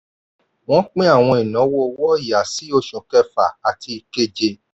wọ́n pín àwọn ìnáwó owó ọ̀ya sí oṣù kẹfà àti keje.